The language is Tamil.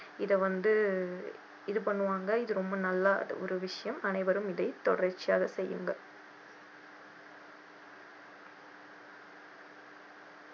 இதை வந்து இது பண்ணுவாங்க இது ரொம்ப நல்ல ஒரு விஷயம் அனைவரும் இதை தொடர்ச்சியாக செய்யுங்கள்.